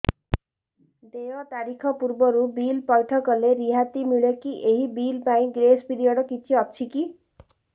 ଦେୟ ତାରିଖ ପୂର୍ବରୁ ବିଲ୍ ପୈଠ କଲେ ରିହାତି ମିଲେକି ଏହି ବିଲ୍ ପାଇଁ ଗ୍ରେସ୍ ପିରିୟଡ଼ କିଛି ଅଛିକି